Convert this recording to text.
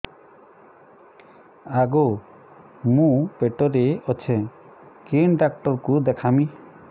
ଆଗୋ ମୁଁ ପେଟରେ ଅଛେ କେନ୍ ଡାକ୍ତର କୁ ଦେଖାମି